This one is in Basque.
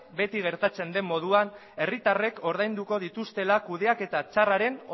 beti gertatzen den moduan herritarrek ordainduko dituztela kudeaketa txarraren